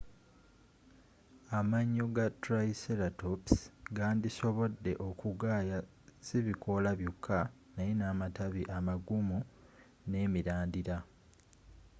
amayo ga triceratops gandisobode okugaaya sibikoola byoka naye namatabi amagumu nemirandira